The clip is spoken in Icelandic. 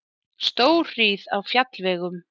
Stórhríð á fjallvegum